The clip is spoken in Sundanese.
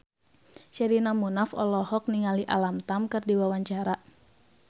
Sherina Munaf olohok ningali Alam Tam keur diwawancara